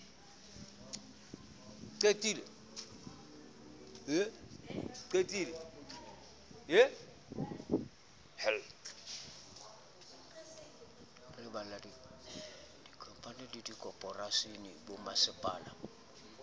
re balella dikhamphani dikhophoreishene bommasepala